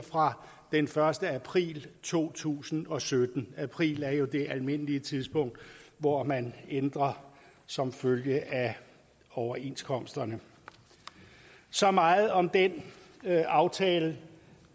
fra den første april to tusind og sytten april er jo det almindelige tidspunkt hvor man ændrer som følge af overenskomsterne så meget om den aftale